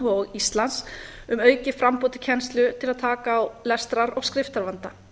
og íslands um aukið framboð til kennslu til að taka á lestrar og skriftarvanda